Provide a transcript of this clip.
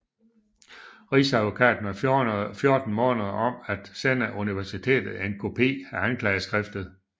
Rigsadvokaten var 14 måneder om at sende universitetet en kopi af anklageskriftet